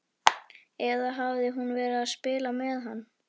Eða hafði hún verið að spila með hann?